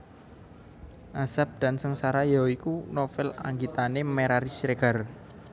Azab dan Sengsara ya iku novel anggitane Merari Siregar